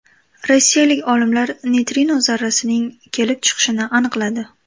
Rossiyalik olimlar neytrino zarrasining kelib chiqishini aniqladi.